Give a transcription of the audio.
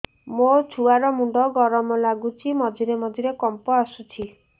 ମୋ ଛୁଆ ର ମୁଣ୍ଡ ଗରମ ଲାଗୁଚି ମଝିରେ ମଝିରେ କମ୍ପ ଆସୁଛି